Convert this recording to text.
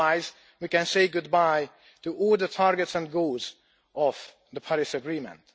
otherwise we can say goodbye to all the targets and goals of the Paris agreement.